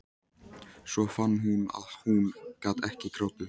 Svo fann hún að hún gat ekki grátið.